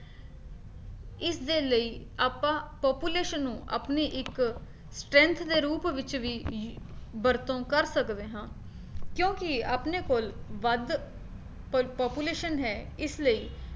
ਇਸਦੇ ਲਈ ਆਪਾਂ population ਨੂੰ ਆਪਣੀ ਇੱਕ strength ਦੇ ਰੂਪ ਵਿੱਚ ਵੀ ਵਰਤੋਂ ਕਰ ਸਕਦੇ ਹਾਂ, ਕਿਉਂਕਿ ਆਪਣੇ ਕੋਲ ਵੱਧ population ਹੈ ਇਸ ਲਈ